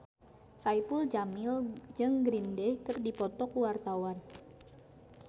Saipul Jamil jeung Green Day keur dipoto ku wartawan